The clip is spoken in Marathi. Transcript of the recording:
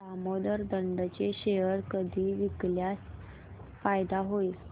दामोदर इंड चे शेअर कधी विकल्यास फायदा होईल